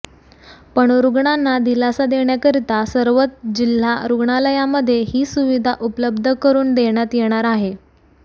पण रुग्णांना दिलासा देण्याकरिता सर्वच जिल्हा रुग्णालयामध्ये ही सुविधा उपलब्ध करुन देण्यात येणार आहे